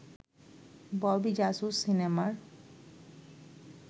ববি জাসুস সিনেমার